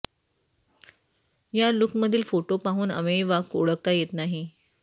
या लूकमधील फोटो पाहून अमेय वाघ ओळखता येत नाही